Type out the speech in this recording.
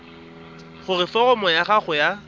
gore foromo ya gago ya